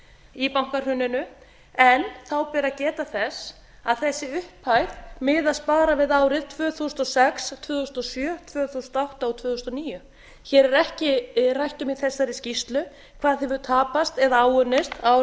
í bankahruninu en þá ber að geta þess að þessi upphæð miðast bara við árin tvö þúsund og sex tvö þúsund og sjö tvö þúsund og átta og tvö þúsund og níu hér er ekki rætt um í þessari skýrslu hvað hefur tapa eða áunnist á